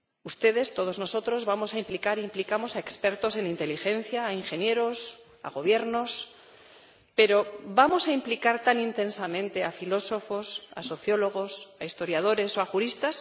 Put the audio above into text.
Ustedes, todos nosotros, vamos a implicar e implicamos a expertos en inteligencia, a ingenieros, a gobiernos, pero ¿vamos a implicar tan intensamente a filósofos, a sociólogos, a historiadores o a juristas?